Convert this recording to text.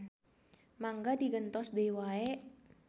Mangga digentos deui wae.